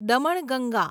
Damanganga